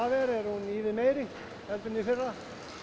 er hún ívið meiri en í fyrra